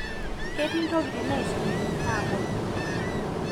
ketii ntokitin naisumi naponu